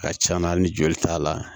Ka can na hali ni joli t'a la